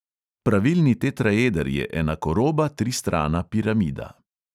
Pravilni tetraeder je enakoroba tristrana piramida.